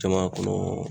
Jama kɔnɔ